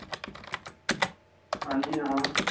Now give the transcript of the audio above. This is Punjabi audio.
ਹਨਜੀ ਹਾਂ